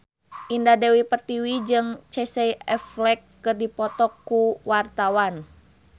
Indah Dewi Pertiwi jeung Casey Affleck keur dipoto ku wartawan